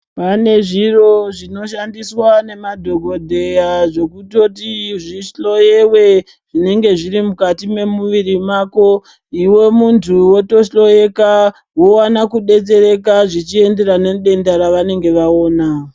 Pane zviro zvinoshandiswa nemadhogodheya zvekutoti zvihloyewe zvinenge zviri mukati memuviri mako. Ive muntu votohloeka vovana kubetsereka zvichienderana nedenda ravanenge vaoma.